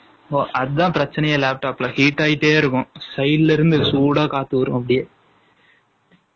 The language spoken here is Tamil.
அதான் ப்ரச்சனையெ lap top ல side ல இருந்து சூட காத்து வந்த்துடே இருக்கும்